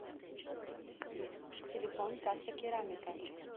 телефон каса керамика